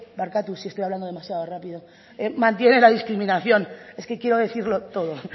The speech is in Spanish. barkatu si estoy hablando demasiado rápido mantiene la discriminación es que quiero decirlo todo